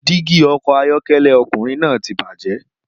Dígí ọkọ̀ ayọ́kẹ́lẹ́ ọkùnrin náà ti bàjẹ́